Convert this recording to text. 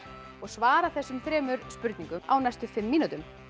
og svara þessum þremur spurningum á næstu fimm mínútum